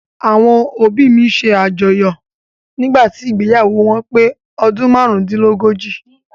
Àwọn òbí mi ṣe àjọyọ̀ nígbàtí ìgbéyàwó wọn pé ọdún márúndínlógójì.